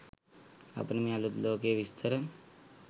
අපට මේ අලුත් ලෝකයේ විස්තර